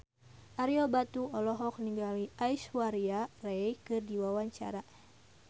Ario Batu olohok ningali Aishwarya Rai keur diwawancara